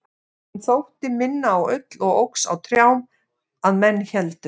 hún þótti minna á ull og óx á trjám að menn héldu